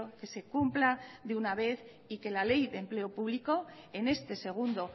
que se cumpla de una vez y que la ley de empleo público en este segundo